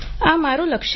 આ મારું લક્ષ્ય છે